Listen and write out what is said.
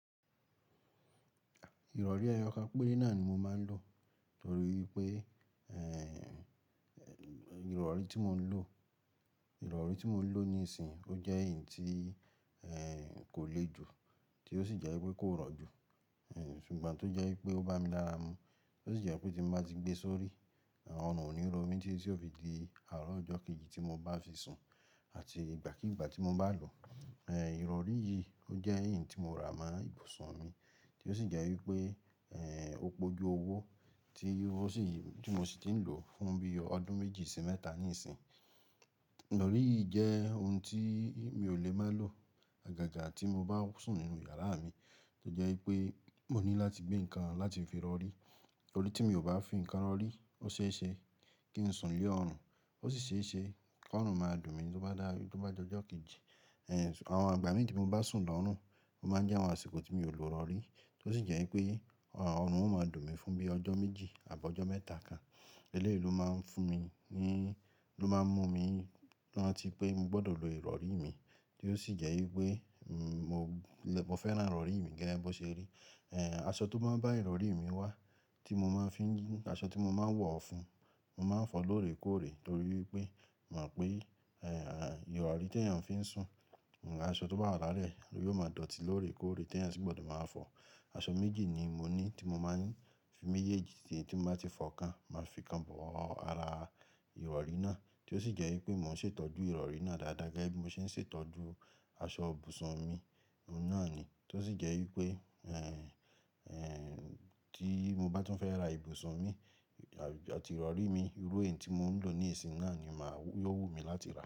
Ìrọ̀rí ẹ́yọ̀kán péré náà ni mo máa ń lò torí wipé, ìrọ̀rí tí mò ń lò, ìrọ̀rí tí mò ń lò níìsín ó jẹ́ èyí tí, kò le jù tí ó sì jẹ́ wipé kò rọ̀ jù. Ṣùgbọ́n tó jẹ́ wipé ó bá mi lára mu, tó sì jẹ́ pé tí n bá ti gbé sórí, ọ̀run ò ní ro mí tití tì ò fi di àárọ̀ ọjọ́ kejì tí mo bá fi sùn àti ìgbàkígbà tí mo bá lò. Írọ̀rí yìí ó jẹ́ iyí tí mo rà mọ́ ibùsùn mi tí ó sì jẹ́ wípé, ó pe oju owó tí o sì tí mo sì ti ń lò fún bí ọdún méjì sì mẹ́ta níìsín. Ìrọ̀rí yìí jẹ́ ohun tí mi ò lè má lò. Àgàgà tí mo bá sùn nínú yàrá mi to jẹ́ wípé mò ní láti gbé ǹkan láti fi rọ̀rí. Torí tí mi ò bá fi ǹkan rọ̀rí, ó ṣeéṣe kí n sùn lé ọrùn, ó sì ṣeéṣe kí ọrùn máa dùn mí tó bá dá tó bá dí ọjọ́ kejì. Àwọn ìgbà míì tí mo bá sùn lọ́rùn, ó máa ń jẹ́ àwọn àsìkò tí mi ò lò írọ̀rí tí ó sì jẹ́ wípé ọrùn ó máa dùn mí fún bí ọjọ́ méjì àbi ọjọ́ mẹ́ta kan. Eléyìí máa ń fún mi ní ló máa ń mú mi rántí pé mo gbọ́dọ̀ lo ìrọ̀rí mi tí ó sì jẹ́ wípé, mo lè mo fẹ́ràn ìrọ̀rí mi gẹ́lẹ́ bí ó ṣe rí. Àṣọ tó máa ń bá ìrọ̀rí mi wá tí mo máa ń fín, aṣọ tí mo máa ń wọ̀ ọ́ fún, mo máa ń fọ̀ ọ́ lóòrè kóòrè torí wípé mò mọ̀ pè, ìrọ̀rí tí èèyàn fi ń sùn, aṣọ tó bá wà láàrẹ ẹ̀ yóò máa dọ̀tí lóòrè kóòrè tí èèyàn sì gbọ́dọ̀ máa fọ̀ ọ́. Aṣọ méjì ni mo ní tí mo máa ń fi méjèèjì tí, tí mo bá ti fọ̀ ọ́ kan máa fi kan bo ara ìrọ̀rí náà tí ó sì jẹ́ wípé mò ń ṣètọ́jú ìrọ̀rí náà dáadáa gẹ́gẹ́ bí mo ṣe ń ṣètọ́jú Àṣọ ibùsùn mi ohun náà ni tí ó sì jẹ́ wípé, tí mo bá tún fẹ́ ra ibùsùn mi àti ìrọ̀rí mi, irú èyí tí mò ń lò níìsín náà ni màá yó wù mí láti rà.